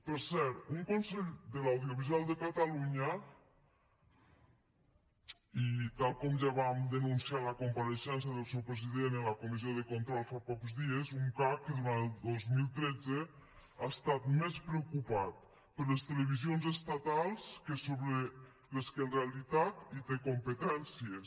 per cert un consell de l’audiovisual de catalunya i tal com ja vam denunciar a la compareixença del seu president en la comissió de control fa pocs dies un cac que durant el dos mil tretze ha estat més preocupat per les televisions estatals que per les que en realitat hi té competències